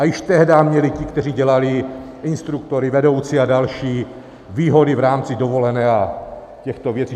A již tehdy měli ti, kteří dělali instruktory, vedoucí a další, výhody v rámci dovolené a těchto věcí.